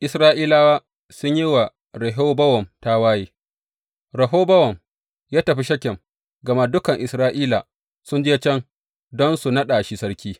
Isra’ilawa sun yi wa Rehobowam tawaye Rehobowam ya tafi Shekem, gama dukan Isra’ila sun je can don su naɗa shi sarki.